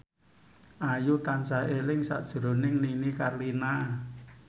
Ayu tansah eling sakjroning Nini Carlina